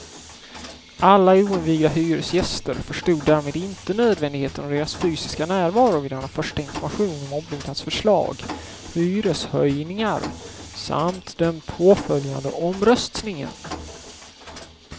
Alla oinvigda hyresgäster förstod därmed inte nödvändigheten av deras fysiska närvaro vid denna första information om ombyggnadsförslag, hyreshöjningar samt den påföljande omröstningen.